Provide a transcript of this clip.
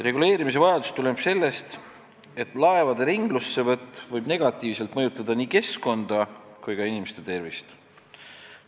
Reguleerimise vajadus tuleneb sellest, et laevade ringlussevõtt võib negatiivselt mõjutada nii keskkonda kui ka inimeste tervist.